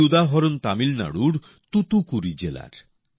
এই উদাহরণ তামিলনাড়ুর তুতুকুড়ি জেলার